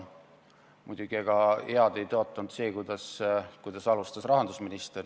Muidugi, ega see head ei tõotanud, kuidas rahandusminister alustas.